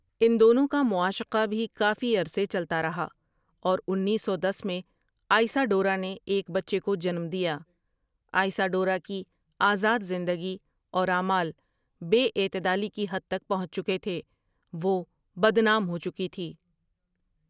ان دونوں کا معاشقہ بھی کافی عرصے چلتا رہا اور انیس سو دس میں آئسا ڈورا نے ایک بچے کو جنم دیا آئسا ڈورا کی آزاد زندگی اور اعمال بے اعتدالی کی حد تک پہنچ چکے تھے، وہ بدنام ہوچکی تھی ۔